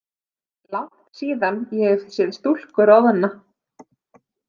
Langt síðan ég hef séð stúlku roðna.